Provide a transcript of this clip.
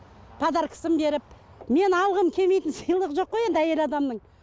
подаркасын беріп мен алғым келмейтін сыйлық жоқ қой енді әйел адамның